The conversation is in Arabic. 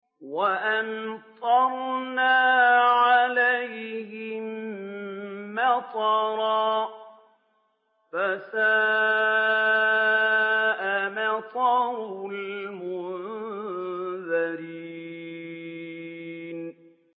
وَأَمْطَرْنَا عَلَيْهِم مَّطَرًا ۖ فَسَاءَ مَطَرُ الْمُنذَرِينَ